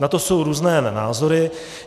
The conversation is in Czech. Na to jsou různé názory.